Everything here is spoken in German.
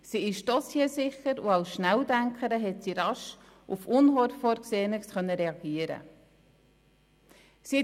Sie ist dossiersicher und hat als Schnelldenkerin schnell auf Unvorhergesehenes reagieren können.